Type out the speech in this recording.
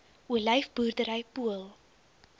olyf boerdery pool